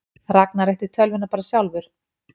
Ragnar ætti tölvuna bara sjálfur?